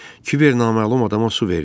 Kiber naməlum adama su verdi.